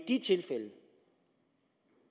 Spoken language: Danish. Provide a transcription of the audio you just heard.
de tilfælde